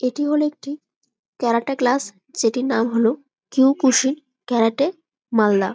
এটি হলো একটি ক্যারাটা ক্লাস যে টির নাম হল কুই কুসুম ক্যারাটে মালদা।